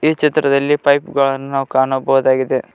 ಈ ಚಿತ್ರದಲ್ಲಿ ಪೈಪ್ ಗಳನ್ನು ಕಾಣಬಹುದಾಗಿದೆ.